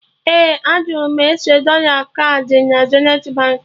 Ee, a jụrụ m ese dọla kaadị na Zenithi Baankị